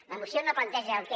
la moció no planteja el què